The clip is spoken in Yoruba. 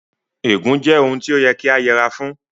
Ègún jẹ́ ohun tí ó yẹ kí a yẹra fún